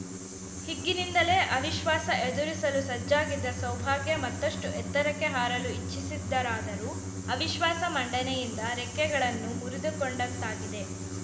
ಹಿಗ್ಗಿನಿಂದಲೇ ಅವಿಶ್ವಾಸ ಎದುರಿಸಲು ಸಜ್ಜಾಗಿದ್ದ ಸೌಭಾಗ್ಯ ಮತ್ತಷ್ಟು ಎತ್ತರಕ್ಕೆ ಹಾರಲು ಇಚ್ಚಿಸಿದ್ದರಾದರೂ ಅವಿಶ್ವಾಸ ಮಂಡನೆಯಿಂದ ರೆಕ್ಕೆಗಳನ್ನು ಮುರಿದುಕೊಂಡಂತಾಗಿದೆ